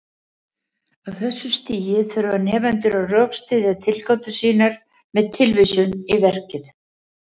Á þessu stigi þurfa nemendur að rökstyðja tilgátur sínar með tilvísun í verkið.